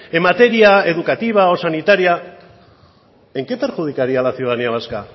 en materia educativa o sanitaria en qué perjudicaría a la ciudadanía vasca